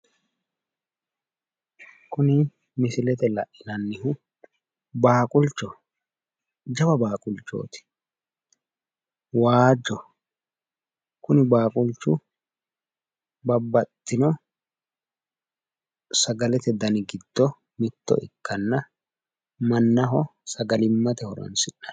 Kuni misilete la'inannihu baaqulchoho. Jawa baaqulchooti. Waajjoho. Kuni baaqulchu babbaxxino sagalete dani giddo mitto ikkanna mannaho sagalimmate horoonsi'nanni.